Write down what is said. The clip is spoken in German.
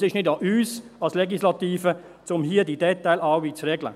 Es ist nicht an uns als Legislative, hier alle diese Details zu regeln.